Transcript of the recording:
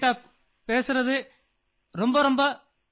आपको बहुत शुभकामनाएं